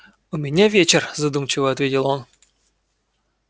у меня вечер задумчиво ответил он